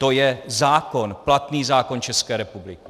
To je zákon, platný zákon České republiky.